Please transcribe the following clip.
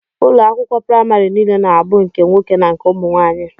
Ụlọakwụkwọ primari niile na abụ nke nwoke na nke ụmụnwaanyi.